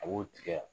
A b'o tigɛ